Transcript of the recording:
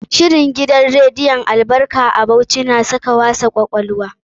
Shirin gidan rediyon Albarka a Bauchi na saka wasa kwakwalwa.